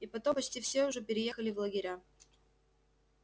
и потом почти все уже переехали в лагеря